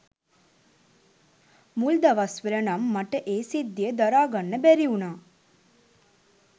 මුල් දවස්වල නම් මට ඒ සිද්ධිය දරා ගන්න බැරි වුණා.